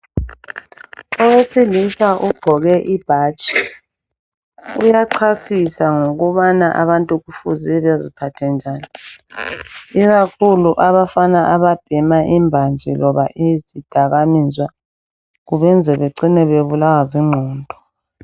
Owesilisa ugqoke ibhatshi uyachasisa ngokubana abantu kufuze beziphathe njani, ikakhulu abafana ababhema imbanje loba izidakamizwa kubenza becine bebulawa zingqondo.